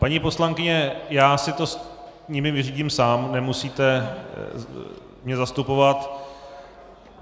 Paní poslankyně, já si to s nimi vyřídím sám, nemusíte mě zastupovat.